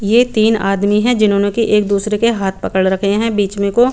ये तीन आदमी है जिन्होंने की कुर्सी हाथपकड़ रखे है बीच में को--